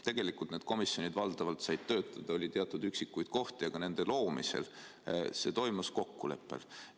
Tegelikult need komisjonid valdavalt said töötada, oli küll teatud üksikuid kohti, aga nende loomine toimus kokkuleppel.